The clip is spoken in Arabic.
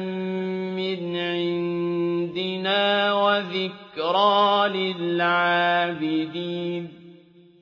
مِّنْ عِندِنَا وَذِكْرَىٰ لِلْعَابِدِينَ